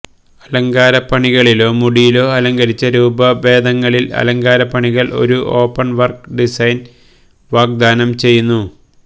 അലങ്കാരപ്പണികളിലോ മുടിയിലോ അലങ്കരിച്ച രൂപഭേദങ്ങളിൽ അലങ്കാരപ്പണികൾ ഒരു ഓപ്പൺ വർക്ക് ഡിസൈൻ വാഗ്ദാനം ചെയ്യുന്നു